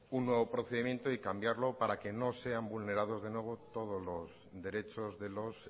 un nuevo procedimiento y cambiarlo para que no sean vulnerados de nuevo todos los derechos de los